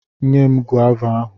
Nye m gova ahụ!